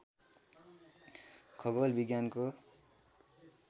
खगोल विज्ञानको